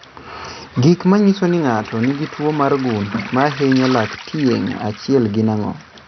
Gik manyiso ni ng'ato nigi tuwo mar gund mahinyo lak tieng' achiel gin ang'o?